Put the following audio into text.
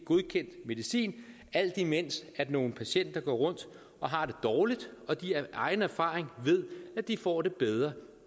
godkendt medicin alt imens nogle patienter går rundt og har det dårligt og de af egen erfaring ved at de får det bedre